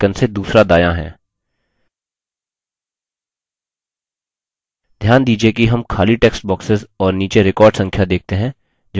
घ्यान दीजिये कि हम खाली text boxes और नीचे record संख्या देखते हैं जोकि 6 है